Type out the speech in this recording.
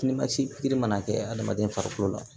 Ni masin mana kɛ adamaden farikolo la